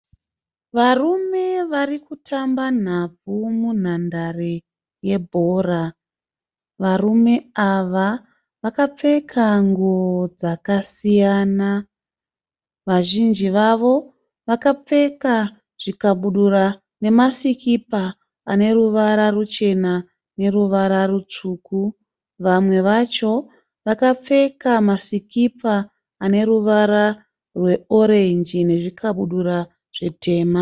Varume vari kutamba nhabvu munhandare yebhora. Varume ava vakapfeka nguo dzakasiyana. Vazhinji vavo vakapfeka zvikabudura nemasikipa ane ruvara ruchena neruvara rutsvuku. Vamwe vacho vakapfeka masikipa ane ruvara rweorenji nezvikabudura zvitema.